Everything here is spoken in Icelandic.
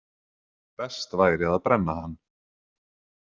Best væri að brenna hann.